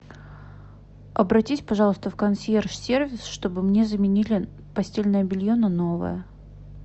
обратись пожалуйста в консьерж сервис чтобы мне заменили постельное белье на новое